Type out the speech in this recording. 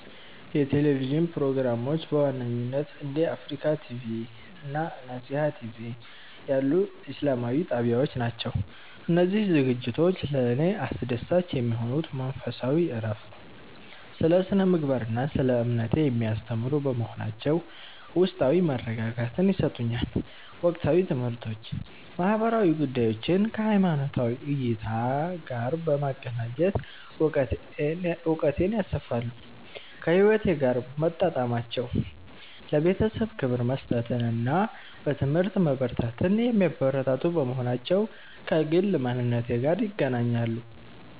የቴሌቪዥን ፕሮግራሞች በዋነኝነት እንደ አፍሪካ ቲቪ (Africa TV) እና ነሲሃ ቲቪ (Nesiha TV) ያሉ ኢስላማዊ ጣቢያዎች ናቸው. እነዚህ ዝግጅቶች ለእኔ አስደሳች የሚሆኑት መንፈሳዊ እረፍት፦ ስለ ስነ-ምግባር እና ስለ እምነቴ የሚያስተምሩ በመሆናቸው ውስጣዊ መረጋጋትን ይሰጡኛል። ወቅታዊ ትምህርቶች፦ ማህበራዊ ጉዳዮችን ከሃይማኖታዊ እይታ ጋር በማገናኘት እውቀቴን ያሰፋሉ. ከህይወቴ ጋር መጣጣማቸው፦ ለቤተሰብ ክብር መስጠትን እና በትምህርት መበርታትን የሚያበረታቱ በመሆናቸው ከግል ማንነቴ ጋር ይገናኛሉ.